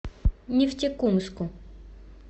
нефтекумску